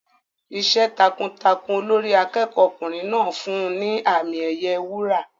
Iṣẹ́ takuntakun Olórí akẹ́kọ̀ọ́ ọkùnrin náà fún un ní àmì ẹ̀yẹ wúrà.